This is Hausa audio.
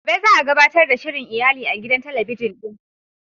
Gobe za a gabatar da shirin iyali a gidan talabijin din.